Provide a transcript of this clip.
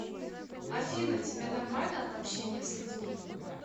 афина тебе нормально от общения с людьми